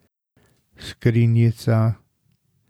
Skrinjica.